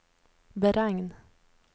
beregn